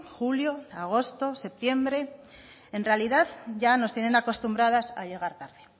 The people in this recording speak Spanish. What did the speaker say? julio agosto septiembre en realidad ya nos tienen acostumbradas a llegar tarde